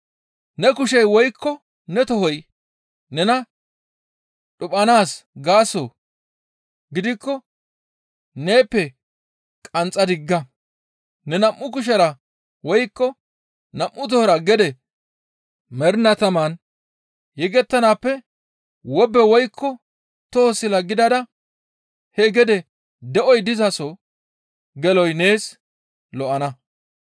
«Ne kushey woykko ne tohoy nena dhuphanaas gaaso gidikko neeppe qanxxa digga! Neni nam7u kushera woykko nam7u tohora gede mernaa taman yegettanaappe wobbe woykko toho sila gidada hee gede de7oy dizaso geloy nees lo7ana.